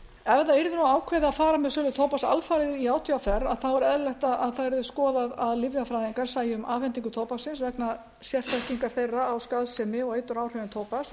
yrði nú ákveðið að fara með sölu tóbaks alfarið í átvr er eðlilegt að það verði skoðað að lyfjafræðingar sæju um afhendingu tóbaksins vegna sérþekkingar þeirra á skaðsemi og eituráhrifum tóbaks